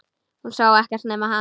Hún sá ekkert nema hann!